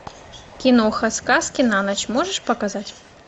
киноха сказки на ночь можешь показать